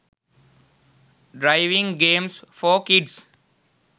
driving games for kids